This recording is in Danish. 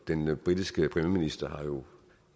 den britiske premierminister har jo